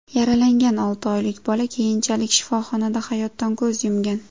Yaralangan olti oylik bola keyinchalik shifoxonada hayotdan ko‘z yumgan.